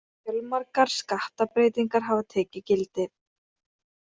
Fjölmargar skattabreytingar hafa tekið gildi